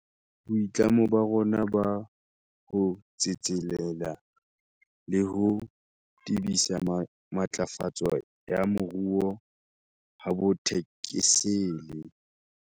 Boitlamo ba rona ba ho tsetselela le ho tebisa matlafatso ya moruo ha bo thekesele.